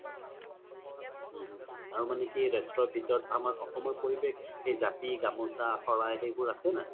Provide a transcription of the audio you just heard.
উম উম আৰু মানে কি ৰেষ্ট্ৰো ভিতৰত আমাৰ অসমৰ পৰিবেশ এই জাপি গামোচা শৰাই সেইবোৰ আছে নে নাই